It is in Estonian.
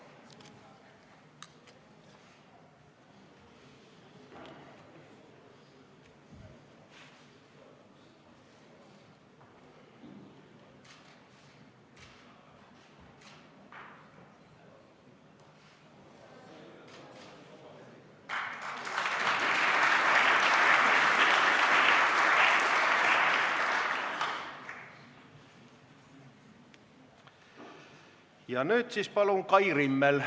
Ja nüüd palun Kai Rimmel!